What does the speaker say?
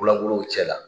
Langolow cɛla